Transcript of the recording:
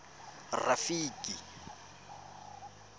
rafiki